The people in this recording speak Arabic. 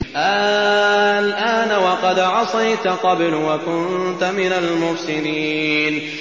آلْآنَ وَقَدْ عَصَيْتَ قَبْلُ وَكُنتَ مِنَ الْمُفْسِدِينَ